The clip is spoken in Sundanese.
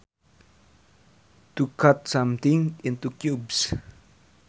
To cut something into cubes